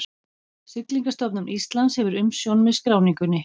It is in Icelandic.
Siglingastofnun Íslands hefur umsjón með skráningunni.